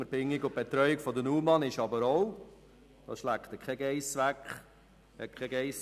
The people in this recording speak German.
Die Unterbringung der UMA ist aber auch ein sehr grosser Kostentreiber.